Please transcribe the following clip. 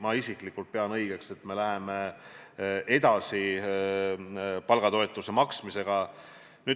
Ma isiklikult pean õigeks, et me läheme edasi palgatoetuse maksmisega.